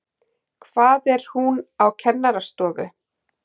Hvað er hún á kennarastofu?